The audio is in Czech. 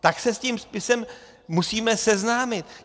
Tak se s tím spisem musíme seznámit.